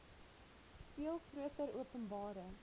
veel groter openbare